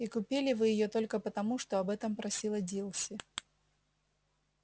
и купили вы её только потому что об этом просила дилси